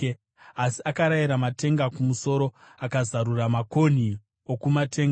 Asi akarayira matenga kumusoro akazarura makonhi okumatenga;